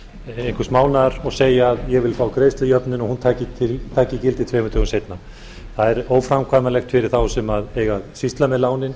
einhvers mánaðar og segja ég vil fá greiðslujöfnun og hún taki gildi tveimur dögum seinna það er óframkvæmanlegt fyrir þá sem eiga að sýsla með lánin